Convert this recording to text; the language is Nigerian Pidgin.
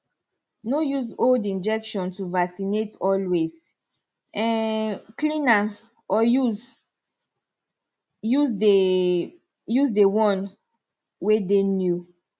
no use old injection to vaccinate always um clean na or use the use the one way dey new